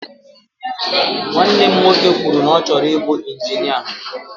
Nwanne m nwoke kwụrụ na ọ chọrọ ibu injinia.